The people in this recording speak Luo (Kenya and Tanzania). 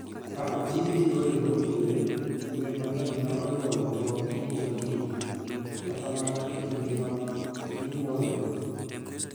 Ka oti gi yore mowinjore, gwen mang'eny nyalo nyuolo tong' kinde ka kinde, kata mana e kinde ma ginyuolore.